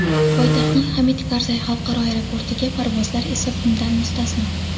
poytaxtning Hamid Karzay xalqaro aeroportiga parvozlar esa bundan mustasno.